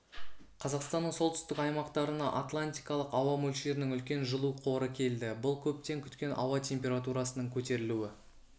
қазақстанның солтүстік аймақтарына атлантикалық ауа мөлшерінің үлкен жылу қоры келді бұл көптен күткен ауа температурасының көтерілуі